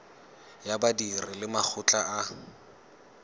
ya badiri le makgotla a